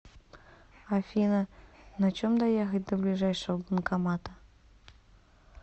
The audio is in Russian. афина на чем доехать до ближайшего банкомата